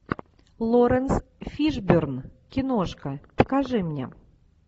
лоуренс фишборн киношка покажи мне